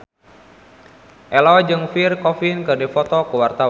Ello jeung Pierre Coffin keur dipoto ku wartawan